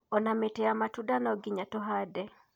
Ona mĩtĩ ya matunda no nginya tũhande.